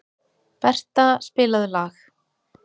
Bertha, spilaðu lag.